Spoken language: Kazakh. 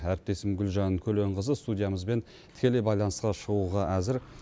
әріптесім гүлжан көленқызы студиямызбен тікелей байланысқа шығуға әзір